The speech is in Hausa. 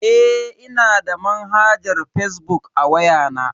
Eh, ina da manhajar fazbuk a waya na.